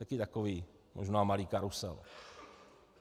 Taky takový možná malý karusel.